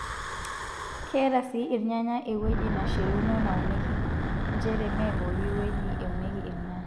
Keeta sii irnyanya ewueji nashiluno naunieki njere, mme pooki wueji eunieki irnyanya.